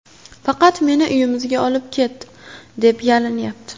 Faqat meni uyimizga olib ket”, deb yalinyapti.